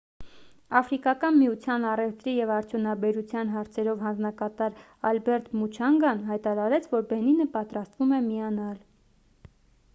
աֆրիկական միության առևտրի և արդյունաբերության հարցերով հանձնակատար ալբերտ մուչանգան հայտարարեց որ բենինը պատրաստվում է միանալ :